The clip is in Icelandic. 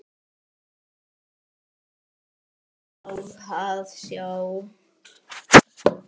Hvaða mynd á að sjá?